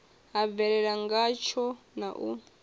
ha bvelela ngatsho na u